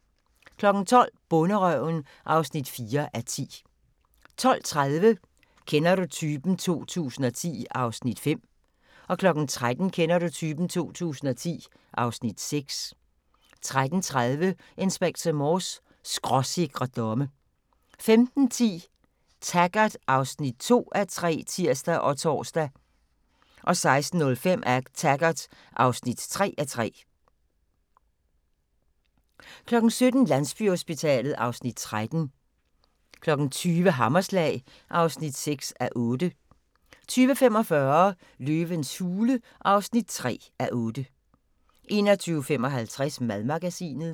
12:00: Bonderøven (4:10) 12:30: Kender du typen? 2010 (Afs. 5) 13:00: Kender du typen? 2010 (Afs. 6) 13:30: Inspector Morse: Skråsikre domme 15:10: Taggart (2:3)(tir og tor) 16:05: Taggart (3:3) 17:00: Landsbyhospitalet (Afs. 13) 20:00: Hammerslag (6:8) 20:45: Løvens hule (3:8) 21:55: Madmagasinet